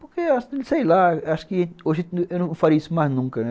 Porque, sei lá, acho que hoje eu não faria isso mais nunca, né?